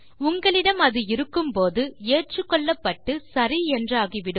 உங்களிடம் அது இருக்கும்போது ஏற்றுக்கொள்ளப்பட்டு சரி என்றாகி விடும்